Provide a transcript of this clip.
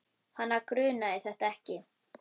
Hana grunaði þetta ekki.